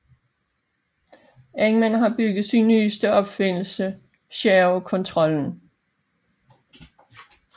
Eggman har bygget sin nyeste opfindelse Chaos Controllen